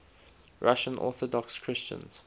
russian orthodox christians